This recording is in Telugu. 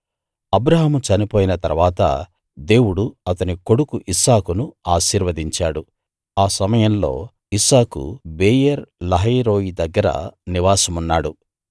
అబ్రాహాము చనిపోయిన తరువాత దేవుడు అతని కొడుకు ఇస్సాకును ఆశీర్వదించాడు ఆ సమయంలో ఇస్సాకు బెయేర్‌ లహాయి రోయి దగ్గర నివాసమున్నాడు